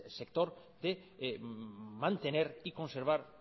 sector de mantener y conservar